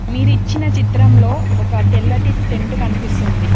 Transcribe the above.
మీరు ఇచ్చిన చిత్రంలో ఒక తెల్లటి టెన్ట్ కనిపిస్తుంది.